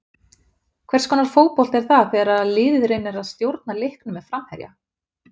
Hvers konar fótbolti er það þegar liðið reynir að stjórna leiknum með framherja?